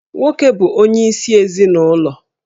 Nwoke bụ onyeisi ezinụlọ